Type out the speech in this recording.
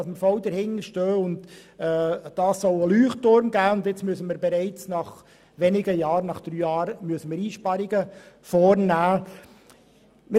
Wir wollten, dass das Projekt zu einem Leuchtturm wird, und nun, nach nur drei Jahren, wollen wir schon Einsparungen vornehmen.